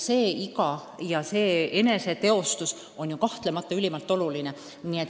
Niisugune eneseteostus on kahtlemata ülimalt oluline.